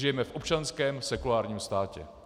Žijeme v občanském sekulárním státě.